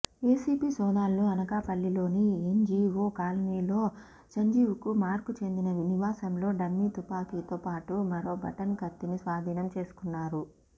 ACB సోదాల్లో అనకాపల్లిలోని NGO కాలనీలో సంజీవ్కుమార్కు చెందిన నివాసంలో డమ్మీ తుపాకీతోపాటు మరో బటన్ కత్తిని స్వాధీనం చేసుకున్నారు